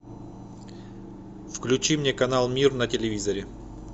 включи мне канал мир на телевизоре